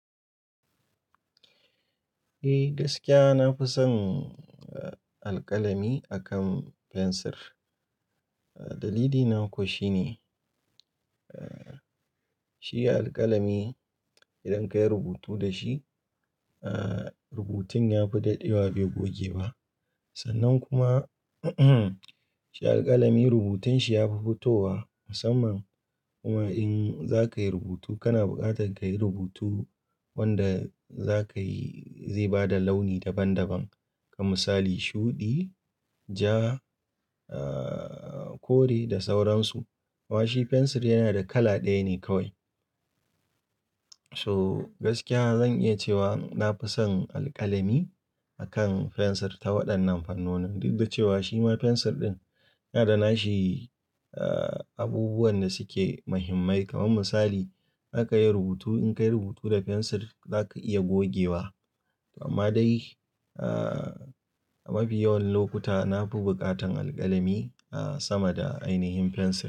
Eh gaskiya na fi son, eh, alƙalami akan fensir. Dalili na kuwa shine, eh, shi alƙalami idan ka yi rubutu da shi, eh, rubutun ya fi dadewa bai goge ba. Sannan kuma shi alƙalami rubutun shi ya fi fitowa musamman kuma in za ka yi rubutu kana buƙatar ka yi rubutu wanda za ka yi zai ba da launi daban daban. Kaman misali shuɗi, ja, eh, kore da sauransu. Amma shi fensir yana da kala ɗaya ne kawai. So gaskiya zan iya cewa na fi son alƙalami akan fensir ta waɗannan fannoni. Duk da cewa shi ma fensir ɗin yana da nashi, eh, abubuwan da suke muhimmai. Kaman misali, aka yi rubutu in ka yi rubutu da fensir za ka iya gogewa. Amma dai, eh, a mafi yawan lokuta na fi buƙatan alƙalami sama da ainihin fensir.